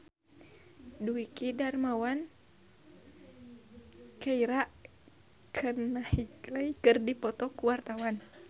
Dwiki Darmawan jeung Keira Knightley keur dipoto ku wartawan